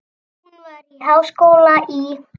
Hún var í háskóla í